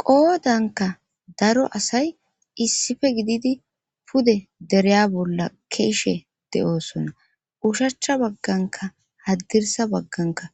Qoodanka daro asay issife gididi pude dereya bolla keeshe de7oosona ushacha bagganka haddirsa bagganka